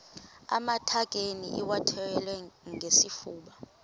amatakane iwathwale ngesifuba